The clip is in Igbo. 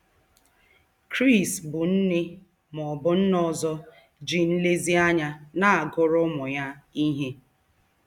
Chris bụ nne ma ọ bụ nna ọzọ ji nlezianya na-agụrụ ụmụ ya ihe.